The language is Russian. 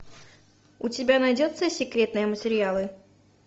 у тебя найдется секретные материалы